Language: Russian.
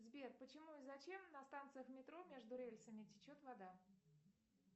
сбер почему и зачем на станциях метро между рельсами течет вода